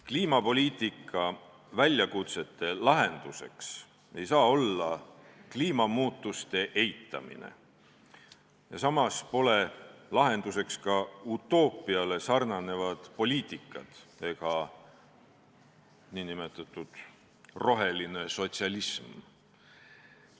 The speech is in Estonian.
Kliimapoliitika väljakutsete lahenduseks ei saa olla kliimamuutuste eitamine, samas pole lahenduseks ka utoopiaga sarnanevad poliitikad ega nn roheline sotsialism.